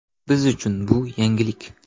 Biz uchun bu yangilik.